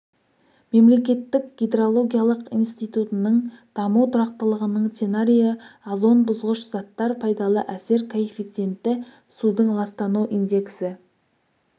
мемлекеттік гидрологиялық институтының даму тұрақтылығының сценарийі озон бұзғыш заттар пайдалы әсер коэффициенті судың ластану индексі